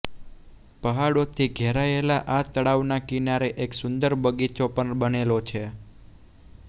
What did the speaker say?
પહાડોથી ઘેરાયેલા આ તળાવના કિનારે એક સુંદર બગીચો પણ બનેલો છે